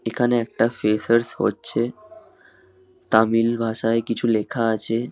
এখানের একটা ফ্রেশার্স হচ্ছে। তামিল ভাষায় কিছু লেখা আছে |